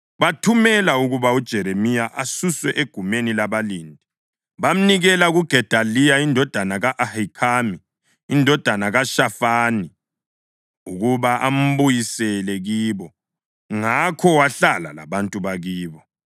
bathumela ukuba uJeremiya asuswe egumeni labalindi. Bamnikela kuGedaliya indodana ka-Ahikhami, indodana kaShafani, ukuba ambuyisele kibo. Ngakho wahlala labantu bakibo.